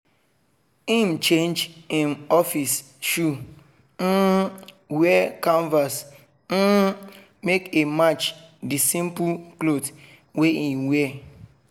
him change him office shoe um wear canvas um make e match the simple cloth wey e wear.